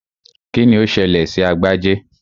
Kíni ó ṣẹlẹ̀ sí Agbájé?